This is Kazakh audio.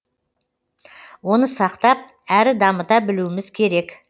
оны сақтап әрі дамыта білуіміз керек